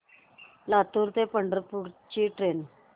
लातूर ते पंढरपूर ची ट्रेन